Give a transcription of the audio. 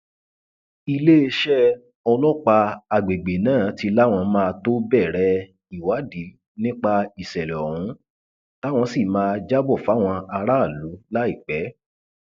iléeṣẹ ọlọpàá àgbègbè náà ti láwọn máa tóó bẹrẹ ìwádìí nípa ìṣẹlẹ ohun táwọn sì máa jábọ fáwọn aráàlú láìpẹ